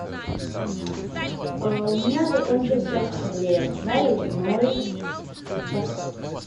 у меня закончился хлеб нарезной батон